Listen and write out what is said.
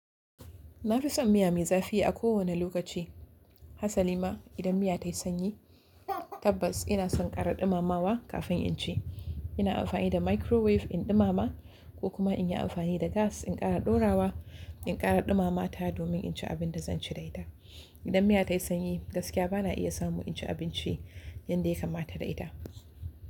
Na fi son miya mai zafi a kowane lokaci. Hasali ma idan miya tayi sanyi tabbas ina son ƙara ɗumamawa kafin in ci. Ina amfani da microwave in ɗumama ko kuma in yi amfani da gas in ƙara ɗorawa, in ƙara ɗumama ta domin in ci abin da zan ci da ita. Idan miya tayi sanyi gaskiya bana iya samu in ci abinci yanda ya kamata da ita.